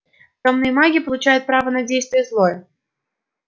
тёмные маги получают право на действие злое